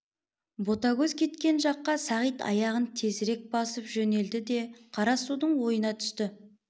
ботагөз кеткен жаққа сағит аяғын тезірек басып жөнелді де қара судың ойына түсті